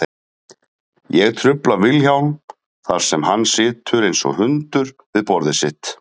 Ég trufla Vilhjálm þar sem hann situr einsog hundur við borðið sitt.